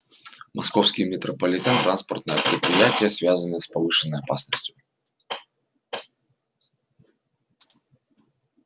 московский метрополитен транспортное предприятие связанное с повышенной опасностью